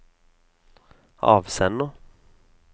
avsender